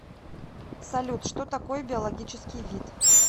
салют что такое биологический вид